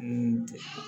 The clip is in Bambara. Mun tɛ